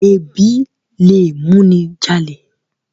Ẹbí lẹ mú ní jalè.